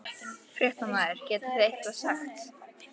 Fréttamaður: Getið þið eitthvað sagt?